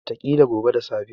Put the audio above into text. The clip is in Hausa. Wataƙila gobe da safe.